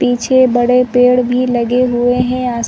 पीछे बड़े पेड़ भी लगे हुए हैं आस --